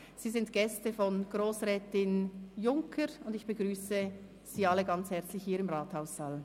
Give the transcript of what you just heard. Sie sind Gäste von Grossrätin Junker, und ich begrüsse Sie alle sehr herzlich hier im Rathaus!